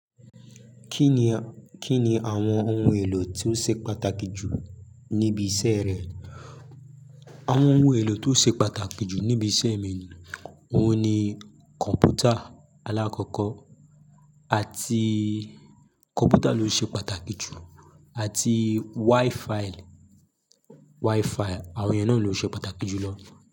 Kí ni àwọn ohun èlò tí ó ṣe pàtàkì jù níbi iṣẹ́ rẹ? Àwọn ohun èlò tí ó ṣe pàtàkì jù níbi iṣẹ́ mi, òun ni kọ̀npútà aláàkọ́kọ́ àti kọ̀npútà ló ṣe pàtàkì jù àti Wi-File, Wi-File àwọn yẹn náà ló ṣe pàtàkì jù lọ.